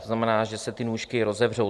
To znamená, že se ty nůžky rozevřou.